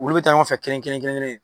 Olu bɛ taa ɲɔgɔn fɛ kelen-kelen-kelen-kelen